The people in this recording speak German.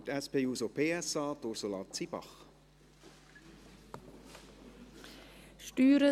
Für die SP-JUSO-PSA hat Ursula Zybach das Wort.